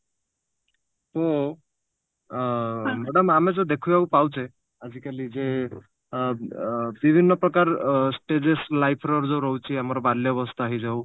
ମୁଁ ଆ madam ଆମେ ଯଉ ଦେଖିବାକୁ ପାଉଛେ ଆଜିକାଲି ଯେ ଏ ବିଭିନ୍ନ ପ୍ରକାର ଅ stages life ର ଯଉ ରହୁଛି ଆମର ବାଲ୍ୟବସ୍ତା ହେଇଯାଉ